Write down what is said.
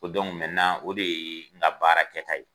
Ko o de ye n nka baara kɛ ta ye.